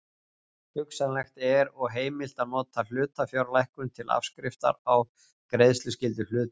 Hugsanlegt er og heimilt að nota hlutafjárlækkun til afskriftar á greiðsluskyldu hluthafa.